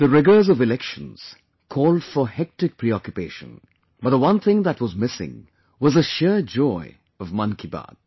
The rigours of Elections called for hectic preoccupation, but the one thing that was missing was the sheer joy of 'Mann Ki Baat